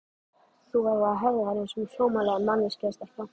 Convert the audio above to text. Þú verður að hegða þér einsog sómasamleg manneskja stelpa.